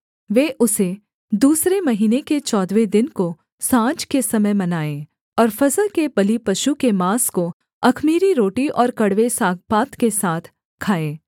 वे उसे दूसरे महीने के चौदहवें दिन को साँझ के समय मनाएँ और फसह के बलिपशु के माँस को अख़मीरी रोटी और कड़वे सागपात के साथ खाएँ